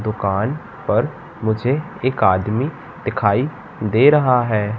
दुकान पर मुझे एक आदमी दिखाई दे रहा है।